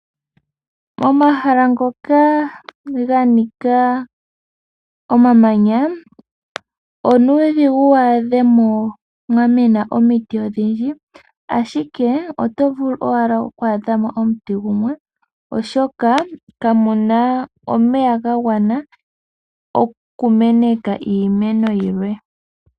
Momahala ngoka ganika omamanya, onuudhigu wu adhemo mwamena omiti odhindji, ashike oto vulu owala oku adhamo omuti gumwe, oshoka kamuna omeya gagwana, okumeneka iimeno yilwe.